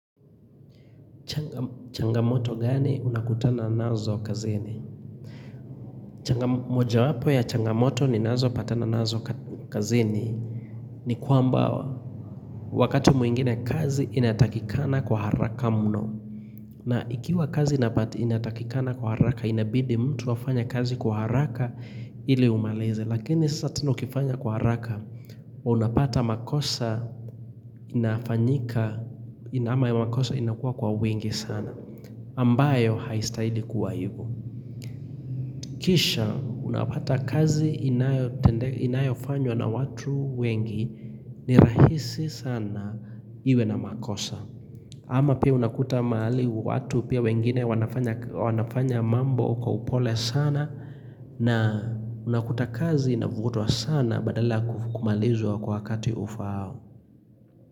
Changamoto gani unakutana nazo kazini? Moja wapo ya changamoto ninazo patana nazo kazini ni kwamba wakati mwingine kazi inatakikana kwa haraka mno. Na ikiwa kazi inapati inatakikana kwa haraka inabidi mtu afanye kazi kwa haraka ili umalize. Lakini sasa teno ukifanya kwa haraka unapata makosa inafanyika ama ya makosa inakuwa kwa wingi sana. Ambayo haistahili kuwa hivo Kisha unapata kazi inayofanywa na watu wengi ni rahisi sana iwe na makosa. Ama pia unakuta mahali watu pia wengine wanafanya mambo kwa upole sana na unakuta kazi inavutwa sana badala yq kumalizwa kwa wakati ufaao.